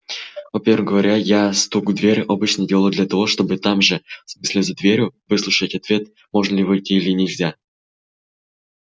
во-первых говорю я стук в дверь обычно делаю для того чтобы там же в смысле за дверью выслушать ответ можно ли войти или нельзя